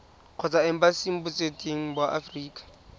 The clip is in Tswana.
kgotsa embasing botseteng ba aforika